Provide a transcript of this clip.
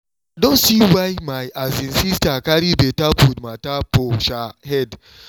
i don see why my um sister carry better food matter for um head